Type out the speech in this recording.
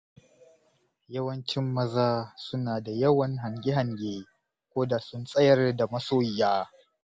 Yawancin maza suna da yawan hange-hange, ko da sun tsayar da masoyiya,